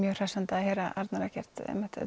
mjög hressandi að heyra Arnar Eggert